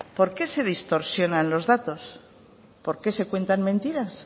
por qué se distorsionan los datos por qué se cuentan mentiras